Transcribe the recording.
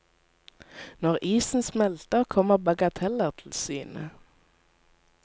Når isen smelter, kommer bagateller til syne.